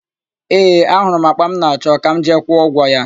Ee, ahụrụ m àkpà m na-achọ; ka m jee kwụọ ụgwọ ya.